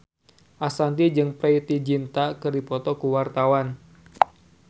Ashanti jeung Preity Zinta keur dipoto ku wartawan